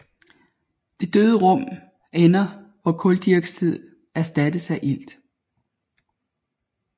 Det døde rum ender hvor kuldioxid erstattes af ilt